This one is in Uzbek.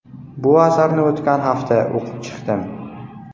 Bu asarni o‘tgan hafta o‘qib chiqdim.